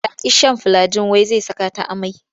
Ta ƙi shan filiagin wai sai saka ta amai.